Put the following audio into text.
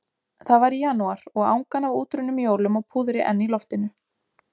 Það var í janúar og angan af útrunnum jólum og púðri enn í loftinu.